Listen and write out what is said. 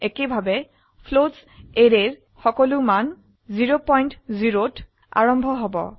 একেভাবে floats অ্যাৰেৰ সকলো মান 00 ত আৰম্ভ হব